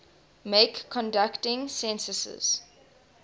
make conducting censuses